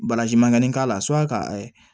mankanni k'a la ka